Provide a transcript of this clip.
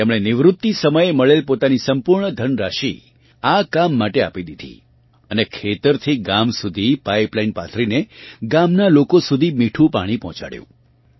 તેમણે નિવૃતિ સમયે મળેલ પોતાની સંપૂર્ણ ધનરાશિ આ કામ માટે આપી દીધી અને ખેતરથી ગામ સુધી પાઇપલાઇન પાથરીને ગામનાં લોકો સુધી મીઠું પાણી પહોંચાડ્યું